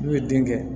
N'u ye den kɛ